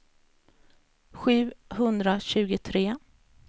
sjuhundratjugotre